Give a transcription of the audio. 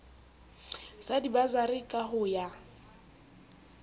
sa dibasari ka ho ya